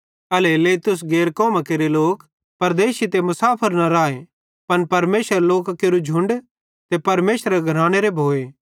एल्हेरेलेइ तुस गैर कौमां केरे लोक परदेशी ते मुसाफर न राए पन परमेशरेरे लोकां केरू झ़ुण्ड ते परमेशरेरे घरानेरे भोए